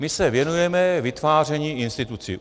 My se věnujeme vytváření institucí.